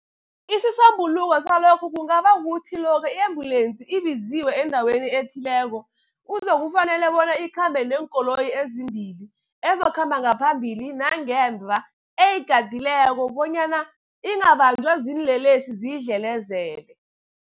Isisombululo salokhu kungaba kukuthi lokha i-embulensi ibiziwe endaweni ethileko, kuzokufanele bona ikhambe neenkoloyi ezimbili ezizokukhamba ngaphambili nangemva, eyigadileko bonyana ingabanjwa ziinlelesi ziyidlelezele.